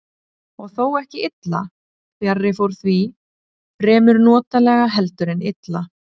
Og þó ekki illa, fjarri fór því, fremur notalega heldur en illa.